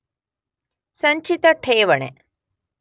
ಸಂಚಿತ ಠೇವಣಿ